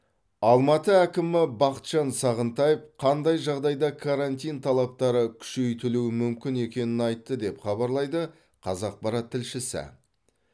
алматы әкімі бақытжан сағынтаев қандай жағдайда карантин талаптары күшейтілуі мүмкін екенін айтты деп хабарлайды қазақпарат тілшісі